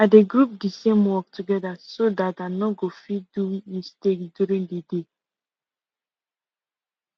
i dey group d same work together so dat i no go fit do mistake during the day